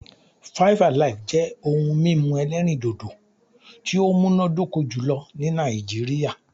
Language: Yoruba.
5 Alive' jẹ́ ohun mímu elérìndòdò tí ó múnádóko jùlō ní Nàìjíríà